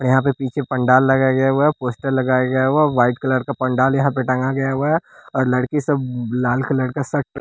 और यहाँ पे पीछे पंडाल लगाया गया हुआ है पोस्टर लगाया गया हुआ है वाइट कलर का पंडाल यहाँ पे टांगा गया हुआ है और लड़की सब बब लाल कलर का श --